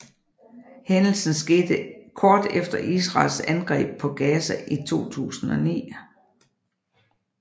Hændelsen skete kort efter Israels angreb på Gaza i 2009